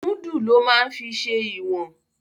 Múdù ló máa ń fi ṣe ìwọ̀n